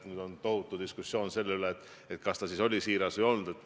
Nüüd on tohutu diskussioon selle üle, kas ta oli siiras või ei olnud.